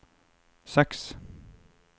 seks